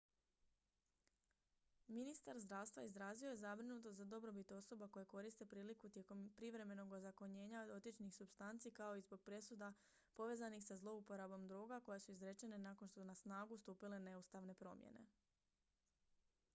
ministar zdravstva izrazio je zabrinutost za dobrobit osoba koje koriste priliku tijekom privremenog ozakonjenja dotičnih supstanci kao i zbog presuda povezanih sa zlouporabom droga koje su izrečene nakon što su na snagu stupile neustavne promjene